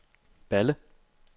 Balle